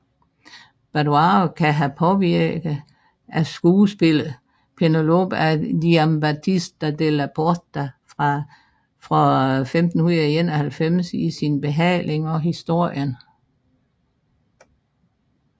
Badoaro kan have påvirket af skuespillet Penelope af Giambattista Della Porta fra 1591 i sin behandling af historien